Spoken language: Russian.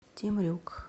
темрюк